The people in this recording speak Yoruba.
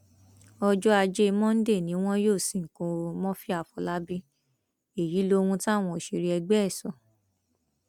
ọjọ ajé monde ni wọn yóò sìnkú murphy àfọlábàbí èyí lóhun táwọn òṣèré ẹgbẹ ẹ sọ